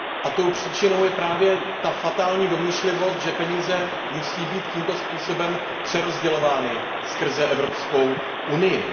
Tou příčinou je právě ta fatální domýšlivost, že peníze musí být tímto způsobem přerozdělovány skrze Evropskou unii.